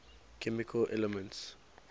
chemical elements